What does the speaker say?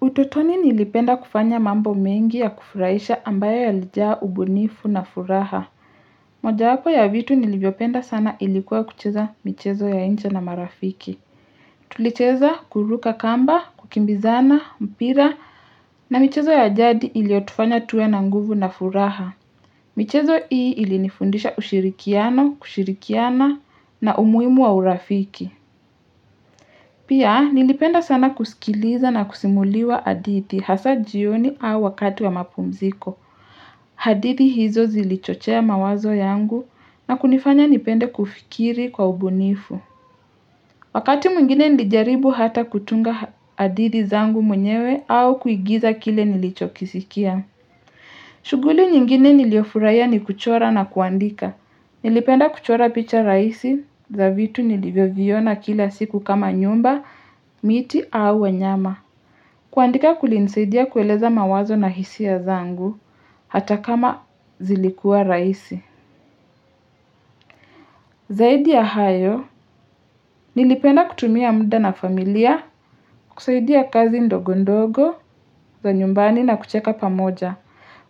Utotoni nilipenda kufanya mambo mengi ya kufuraisha ambayo yalijaa ubunifu na furaha. Moja yapo ya vitu nilivyopenda sana ilikuwa kucheza michezo ya incha na marafiki. Tulicheza kuruka kamba, kukimbizana, mpira na michezo ya ajadi iliotufanya tuwe na nguvu na furaha. Michezo hii ilinifundisha ushirikiano, kushirikiana na umuhimu wa urafiki. Pia, nilipenda sana kuskiliza na kusimuliwa adithi hasa jioni au wakati wa mapumziko. Hadithi hizo zilichochea mawazo yangu na kunifanya nipende kufikiri kwa ubunifu. Wakati mwingine nilijaribu hata kutunga hadithi zangu mwenyewe au kuigiza kile nilicho kisikia. Shughuli nyingine niliofurahia ni kuchora na kuandika. Nilipenda kuchora picha raisi za vitu nilivyoviona kila siku kama nyumba, miti au wanyama. Kuandika kulinsaidia kueleza mawazo na hisi ya zangu, hata kama zilikuwa raisi. Zaidi ya hayo, nilipenda kutumia muda na familia, kusaidia kazi ndogo ndogo za nyumbani na kucheka pamoja.